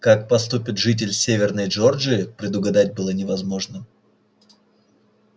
как поступит житель северной джорджии предугадать было невозможным